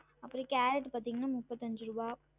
அப்றம் காரட் பாத்திங்கன்னா முப்பத்தி அஞ்சு ருவா